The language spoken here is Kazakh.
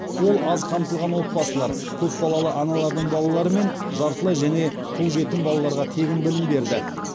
ол аз қамтылған отбасылар көпбалалы аналардың балалары мен жартылай және тұл жетім балаларға тегін білім берді